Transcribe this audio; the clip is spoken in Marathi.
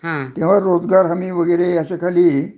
तेव्हा रोजगार हमी वगैरे असे काही